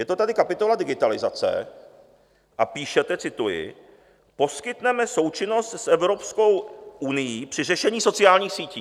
Je to tady kapitola Digitalizace a píšete - cituji: "Poskytneme součinnost s Evropskou unií při řešení sociálních sítí."